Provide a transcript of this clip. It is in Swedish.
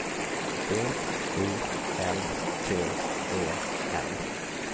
B U L T E N